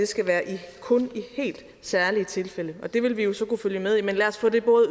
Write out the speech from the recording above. skal være i helt særlige tilfælde og det vil vi jo så kunne følge med i men lad os få det